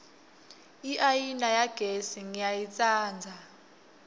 iayina yagesi ngiyayitsandza